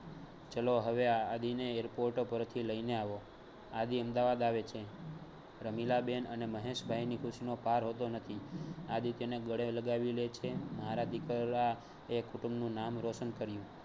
ચલો હવે, આદિને airport પરથી લઈને આવો. આદિ અમદાવાદ આવે છે રમીલા બેન અને મહેશ ભાઈની ખુશીનો પાર હોતો નથી આદિત્યને ગળે લગાવી લે છે મારા દિકલા એ કુંટુંબનું નામ રોશન કર્યું.